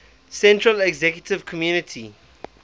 central executive committee